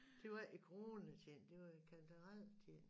Det var ikke i coronatiden det var i kantareltiden